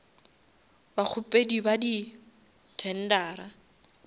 bakgopedi ba di tendera